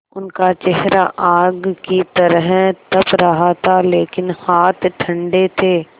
उनका चेहरा आग की तरह तप रहा था लेकिन हाथ ठंडे थे